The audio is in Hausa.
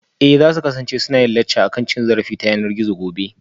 Eh za su kasance suna yin lacca akan cin zarafi ta yanar gizo gobe